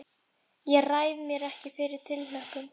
Ég ræð mér ekki fyrir tilhlökkun.